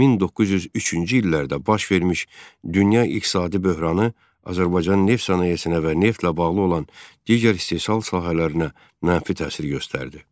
1903-cü illərdə baş vermiş dünya iqtisadi böhranı Azərbaycan neft sənayesinə və neftlə bağlı olan digər istehsal sahələrinə mənfi təsir göstərdi.